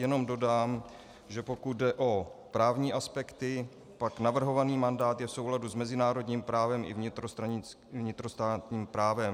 Jenom dodám, že pokud jde o právní aspekty, pak navrhovaný mandát je v souladu s mezinárodním právem i vnitrostátním právem.